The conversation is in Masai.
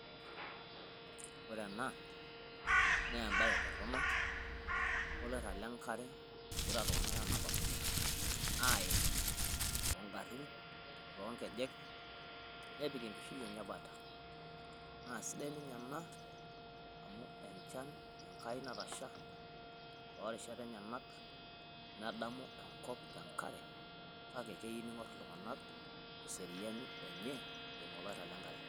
Ore ena naa embae torrono o lairrab le nkare ogira iltung'anak aanapakino aiid too garin, too nkejek, nepik enkishui enye 'bata. Naa sidai ninye ena amu enchan enkai natasha too rishat enyenak nedamu enkop te enkare. Kake keyieu niing'or iltung'anak eseriani enye eimu oloirrab le enkare.